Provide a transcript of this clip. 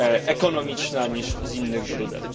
ekonomiczna niż z innych źródeł.